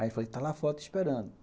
Aí eu falei, está lá fora, te esperando.